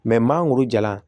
maa muru jalan